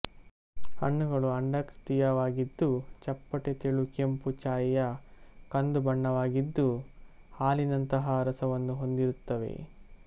ಹಣ್ಣುಗಳು ಅಂಡಾಕೃತಿಯವಾಗಿದ್ದು ಚಪ್ಪಟೆ ತೆಳು ಕೆಂಪು ಛಾಯೆಯ ಕಂದು ಬಣ್ಣದವಾಗಿದ್ದು ಹಾಲಿನಂತಹಾ ರಸವನ್ನು ಹೊಂದಿರುತ್ತವೆ